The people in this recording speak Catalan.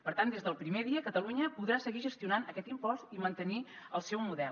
per tant des del primer dia catalunya podrà seguir gestionant aquest impost i mantenir el seu model